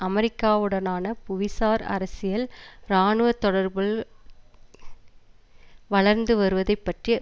அமெரிக்காவுடனான புவிசார் அரசியல் இராணுவ தொடர்புள் வளர்ந்து வருவதை பற்றி